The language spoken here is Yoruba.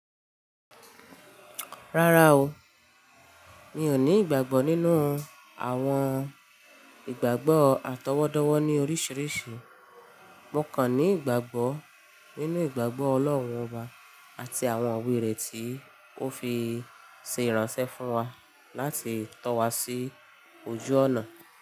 Rárá o, mi ò ní ìgbàgbọ́ nínú àwọn ìgbàgbọ́ àtọwọ́dọ́wọ́ ní oríṣiríṣi. Mo kàn ní ìgbàgbọ́ nínú ìgbàgbọ́ Ọlọ́run Ọba àti àwọn iwe rẹ̀ tí ó fi ṣe ìránṣẹ́ fún wa láti tọ́ wa sí ojú ọ̀nà.